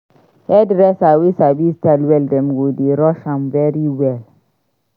Hairdresser wey sabi style well dem go dey rush am very well.